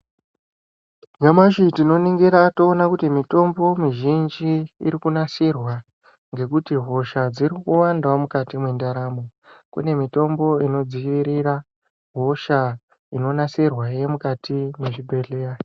Nyamashi tino ningira toona kuti mitombo mi zhinji iri kunasirwa ngekuti hosha dziri kuwandawo mukati me ndaramo kune mitombo ino dzivirira hosha ino nasirwa ye mukati me zvibhedhleya.